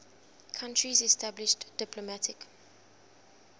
countries established diplomatic